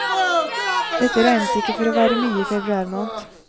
Dette regnes ikke for å være mye i februar måned.